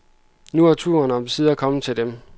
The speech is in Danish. Nu er turen omsider kommet til dem.